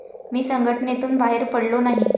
मी संघटनेतून बाहेर पडलो नाही.